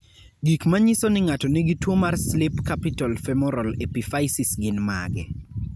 Gik manyiso ni ng'ato nigi tuwo mar "Slip capital femoral epiphysis" gin mage?